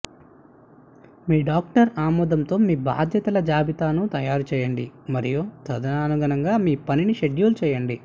మీ doctor ఆమోదంతో మీ బాధ్యతల జాబితాను తయారు చేయండి మరియు తదనుగుణంగా మీ పనిని షెడ్యూల్ చేయండి